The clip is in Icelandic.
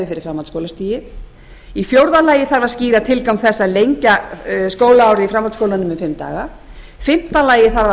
fyrir framhaldsskólastigið fjórða skýra þarf tilgang þess að lengja skólaárið í framhaldsskólanum um fimm daga fimmta